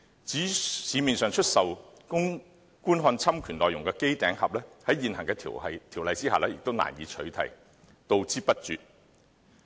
至於在市面上出售供觀看侵權內容的機頂盒，在現行條例下也難以取締，杜之不絕。